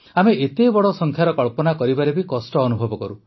ଆମେ ଏତେ ବଡ଼ ସଂଖ୍ୟାର କଳ୍ପନା କରିବାରେ ବି କଷ୍ଟ ଅନୁଭବ କରୁ